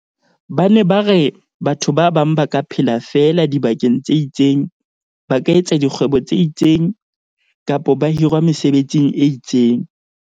Ba ne ba re batho ba bang ba ka phela feela dibakeng tse itseng, ba ka etsa dikgwebo tse itseng, kapa ba hirwa mesebetsing e itseng.